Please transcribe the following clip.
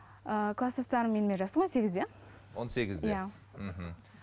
ыыы кластастарым менімен жасты он сегізде он сегізде иә мхм